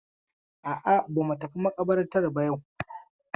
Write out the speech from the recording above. A'a, ba mu tafi maƙabartar ba yau.